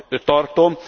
tartom.